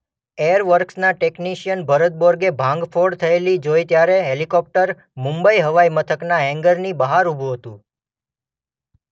Air વર્કસના technician Bharat Borge ભાંગફોડ થયેલી જોઈ ત્યારે હેલિકોપ્ટર મુંબઈ હવાઈ મથકના હેન્ગરની બહાર ઊભું હતું.